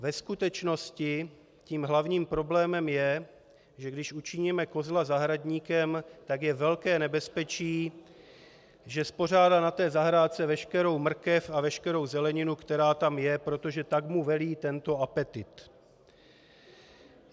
Ve skutečnosti tím hlavním problémem je, že když učiníme kozla zahradníkem, tak je velké nebezpečí, že spořádá na té zahrádce veškerou mrkev a veškerou zeleninu, která tam je, protože tak mu velí tento apetýt.